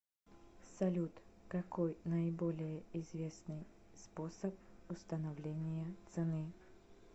салют какой наиболее известный способ установления цены